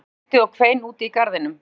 Regnið buldi og hvein úti í garðinum